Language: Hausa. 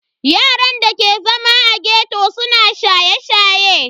Yaran da ke zama a ghetto suna shaye-shaye.